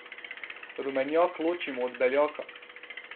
Rumenjak ločimo od beljaka.